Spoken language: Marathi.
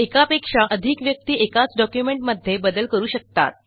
एकापेक्षा अधिक व्यक्ती एकाच डॉक्युमेंटमध्ये बदल करू शकतात